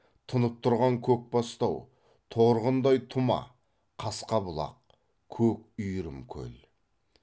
тұнып тұрған көкбастау торғындай тұма қасқа бұлақ көк үйірім көл